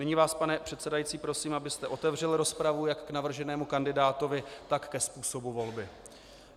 Nyní vás, pane předsedající, prosím, abyste otevřel rozpravu jak k navrženému kandidátovi, tak ke způsobu volby.